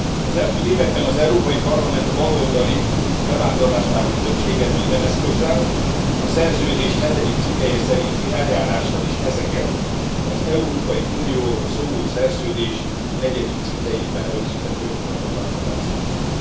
Az elmúlt években az Európai Parlament baloldali bevándorláspárti többsége minden eszközzel, a szerződés hetedik cikkelye szerinti eljárással is ezeket, az Európai Unióról szóló szerződés negyedik cikkelyében rögzített jogokat akarta felszámolni.